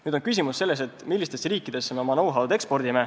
Nüüd on küsimus selles, millistesse riikidesse me oma know-how'd ekspordime.